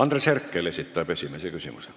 Andres Herkel esitab esimese küsimuse.